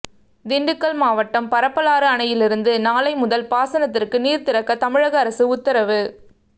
திண்டுக்கல் மாவட்டம் பரப்பலாறு அணையிலிருந்து நாளை முதல் பாசனத்திற்கு நீர் திறக்க தமிழக அரசு உத்தரவு